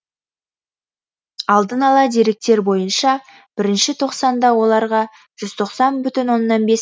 алдын ала деректер бойынша бірінші тоқсанда оларға жүз тоқсан бүтін оннан бес